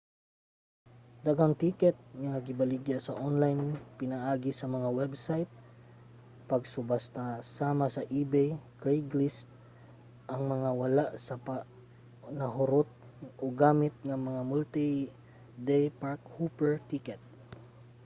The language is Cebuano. daghang ticket nga gibaligya sa online pinaagi sa mga website sa pagsubasta sama sa ebay o craigslist ang mga wala pa nahurot og gamit nga multi-day park-hopper ticket